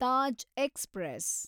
Taj express